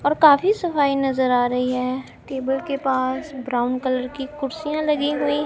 और काफी सफाई नजर आ रही है टेबल के पास ब्राउन कलर की कुर्सियां लगी हुई--